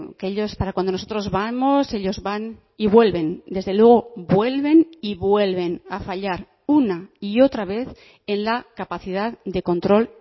que ellos para cuando nosotros vamos ellos van y vuelven desde luego vuelven y vuelven a fallar una y otra vez en la capacidad de control